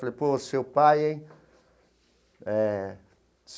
Falei, pô, seu pai, hein? Eh.